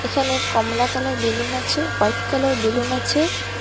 এখানে কমলা কালারের বেলুন আছে হোয়াইট কালারের বেলুন আছে।